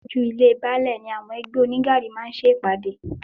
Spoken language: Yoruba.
Iwájú ilée Baálè ni àwọn ẹgbẹ́ onígaàrí ti máa ń ṣe ìpàdé.